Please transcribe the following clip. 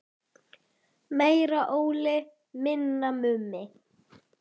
Guðný: Svona í alvöru talað?